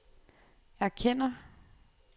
erkender